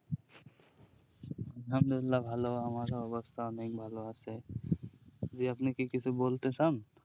আহামদুলিল্লা ভালো আমারও অবস্থা অনেক ভালো আছে জি আপনি কি কিছু বলতে চান